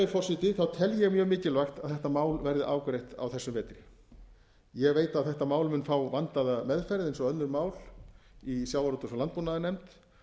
forseti tel ég mjög mikilvægt að þetta mál verði afgreitt á þessum vetri ég veit að þetta mál mun fá vandaða meðferð eins og önnur máli í sjávarútvegs og landbúnaðarnefnd